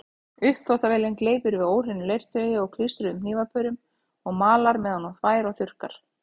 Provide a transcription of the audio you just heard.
Uppþvottavélin gleypir við óhreinu leirtaui og klístruðum hnífapörum og malar meðan hún þvær og þurrkar.